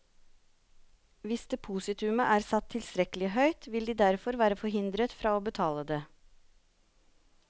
Hvis depositumet er satt tilstrekkelig høyt, vil de derfor være forhindret fra å betale det.